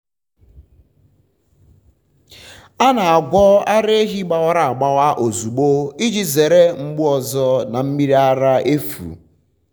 a na-agwọ ara ehi gbawara agbawa ozugbo iji zere mgbu ọzọ na mmiri ara efu.